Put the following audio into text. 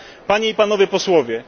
Panie i Panowie Posłowie!